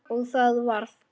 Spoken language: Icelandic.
Og það varð.